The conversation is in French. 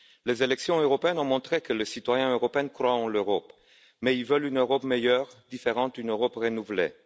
Les élections européennes ont montré que les citoyens européens croient en l'Europe, mais ils veulent une Europe meilleure, différente, une Europe renouvelée.